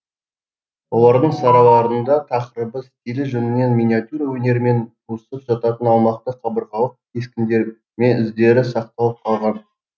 олардың сарайларында тақырыбы стилі жөнінен миниатюра өнерімен туысып жататын аумақты қабырғалық кескін де ме іздері сақталып қалған